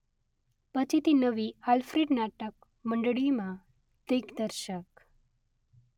પછીથી નવી આલ્ફ્રેડ નાટક મંડળીમાં દિગ્દર્શક.